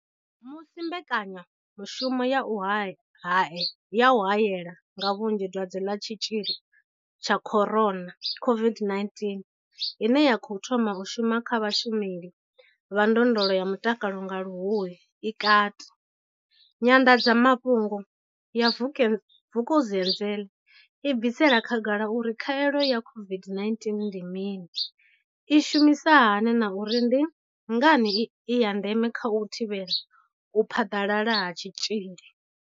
Musi mbekanyamushumo ya u haela nga vhunzhi dwadze ḽa tshitzhili tsha corona COVID-19, ine ya khou thoma u shuma kha vhashumeli vha ndondolo ya mutakalo nga luhuhi i kati, nyanḓadzamafhungo ya Vukuzenzele i bvisela khagala uri khaelo ya COVID-19 ndi mini, i shumisa hani na uri ndi ngani i ya ndeme kha u thivhela u phaḓalala ha tshitzhili.